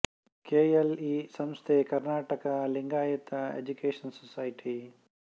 K L E ಸಂಸ್ಥೆ Karnataka Lingayat education society